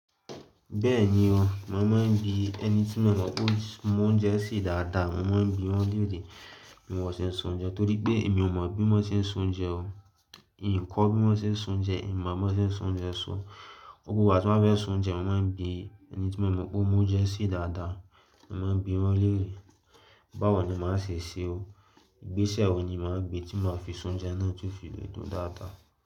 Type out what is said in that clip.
Bẹ́wni o, mo máa ń bi ẹni tí mo mọ̀ pé ó mọ oúnjẹ sè dáadáa. Mo máa ń bi wọ́n léèrè. Bí wọ́n ṣe ń sè oúnjẹ torí pé èmi ò mọ̀ bí mo ṣe ń sè oúnjẹ o. N kò mọ̀ bí mo ṣe ń sè oúnjẹ, n mọ̀ bí mo ṣe ń sè oúnjẹ sọ. Gbogbo ìgbà tí mo bá fẹ́ sè oúnjẹ, màá ń bi ẹni tí mo mọ̀ pé ó mọ oúnjẹ sè dáadáa. Mo máa ń bi wọ́n léèrè. Báwo ni màá ṣe sè o? Igbẹ́sẹ̀ wo ni màá gbé tí màá fi sè oúnjẹ náà tí ó fi lè dùn dáadáa?